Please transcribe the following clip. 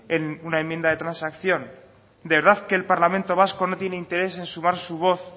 en una enmienda de transacción de verdad que el parlamento vasco no tiene interés en sumar su voz